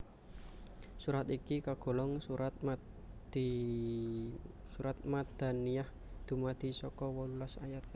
Surat iki kagolong surat Madaniyah dumadi saka wolulas ayat